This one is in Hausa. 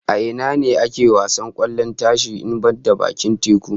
A ina ne ake wasar kwallon tashi in banda bakin teku?